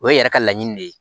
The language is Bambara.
O ye yɛrɛ ka laɲini de ye